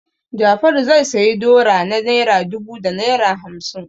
Jafaru zai sayi dora na naira dubu da naira hamsin.